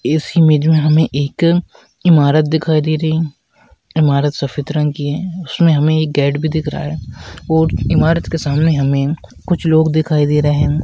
इस इमेज में हमे एक ईमारत दिखाई दे रही है इमारत सफ़ेद रंग की है उसमे हमे एक गेट भी दिख रहा है और इमारत के सामने हमे कुछ लोग दिखाई दे रहे है।